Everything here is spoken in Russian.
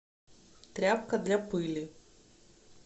тряпка для пыли